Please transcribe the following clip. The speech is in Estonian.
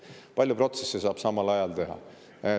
Paljusid protsesse saab samal ajal teha.